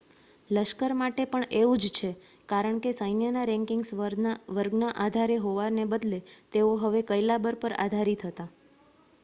લશ્કર માટે પણ એવું જ છે કારણ કે સૈન્યના રેન્કિંગ્સ વર્ગના આધારે હોવાને બદલે તેઓ હવે કૈલાબર પર આધારિત હતા